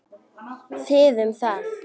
Þið um það!